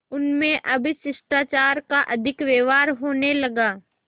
उनमें अब शिष्टाचार का अधिक व्यवहार होने लगा